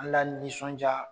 An la nisɔndiya